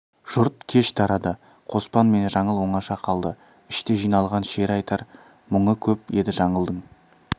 жұрт кеш тарады қоспан мен жаңыл оңаша қалды іште жиналған шері айтар мұңы көп еді жаңылдың